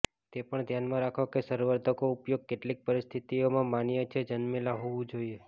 તે પણ ધ્યાનમાં રાખો કે સંવર્ધકો ઉપયોગ કેટલીક પરિસ્થિતિઓમાં માન્ય છે જન્મેલા હોવું જોઈએ